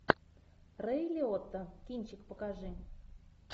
рэй лиотта кинчик покажи